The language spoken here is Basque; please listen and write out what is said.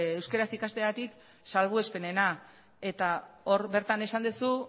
euskaraz ikasteagatik salbuespenena eta hor bertan esan duzu